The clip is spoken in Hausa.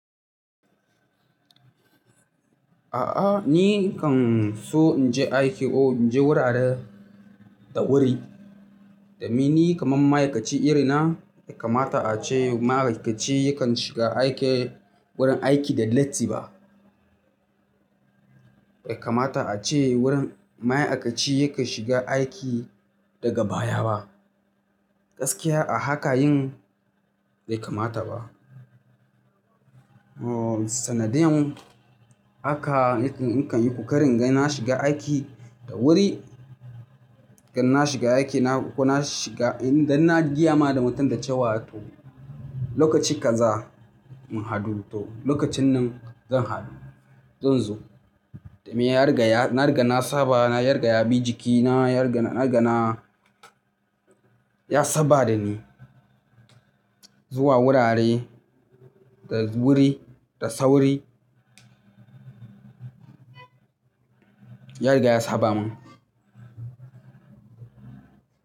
A'a ni kan so in je aiki ko in je wurare da wuri. Da me ni kaman ma'aikaci irina bai kamata a ce ma'aikaci yakan shiga aiki wurin aiki da latti ba. Bai kamata a ce wurin ma'aikaci yakan shiga aiki daga baya ba. Gaskiya a haka yin bai kamata ba. Ohh sanadiyan haka nakan yi ƙoƙari inga na shiga aiki da wuri, idan na shiga aikina ko na shiga, idan na gqya ma da mutum da cewa to lokaci kaza mu hadu to lokacin nan zan hadu, zan zo. Da me yari gaya, na riga na saba na yari gaya bijikina, yari gaya na riga na ya saba da ni zuwa wurare da wuri da sauri. Ya riga ya saba min.